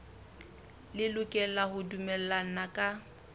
le lokela ho dumellana ka